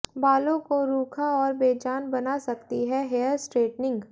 बालों को रूखा और बेजान बना सकती है हेयर स्ट्रेटनिंग